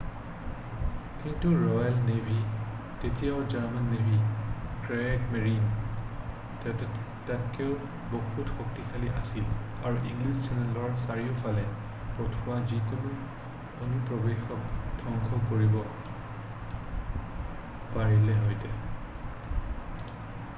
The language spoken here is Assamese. "কিন্তু ৰ'য়েল নেভী তেতিয়াও জাৰ্মান নেভী "ক্ৰিয়েগমেৰিন" তকৈও বহুত শক্তিশালী আছিল আৰু ইংলিছ চেনেলৰ চাৰিওফালে পঠিওৱা যিকোনো অনুপ্ৰৱেশক ধ্বংস কৰিব পাৰিলেহেতে।""